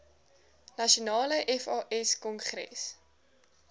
nasionale fas kongres